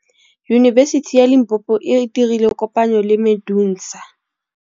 Yunibesiti ya Limpopo e dirile kopanyô le MEDUNSA.